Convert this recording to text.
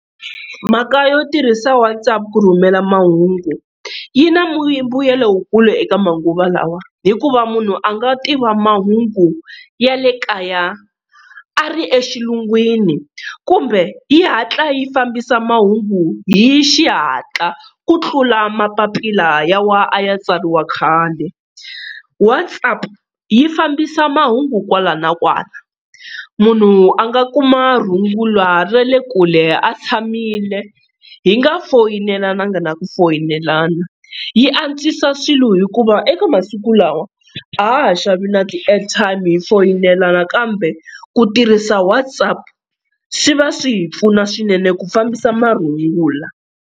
Mhaka yo tirhisa WhatsApp ku rhumela mahungu, yi na mbuyelo wukulu eka manguva lawa hikuva munhu a nga tiva mahungu ya le kaya a ri exilungwini, kumbe yi hatla yi fambisa mahungu hi xihatla ku tlula mapapila lawa a ya tsariwa khale. WhatsApp yi fambisa mahungu kwala na kwala munhu a nga kuma rungula ra le kule a tshamile hi nga foyinelanga na nga na ku foyinelana, yi antswisa swilo hikuva eka masiku lawa a ha ha xavi na ti-airtime hi foyinelana kambe ku tirhisa WhatsApp swi va swi hi pfuna swinene ku fambisa marungula.